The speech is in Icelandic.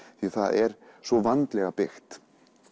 því það er svo vandlega byggt